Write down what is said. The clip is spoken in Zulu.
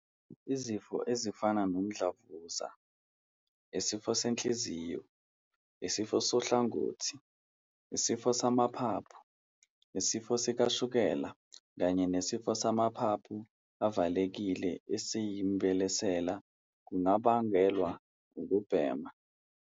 "Izifo ezifana nomdlavuza, isifo senhliziyo, isifo sohlangothi, isifo samaphaphu, isifo sikashukela kanye nesifo samaphaphu avalekile esiyimbelesela kungabangelwa ukubhema."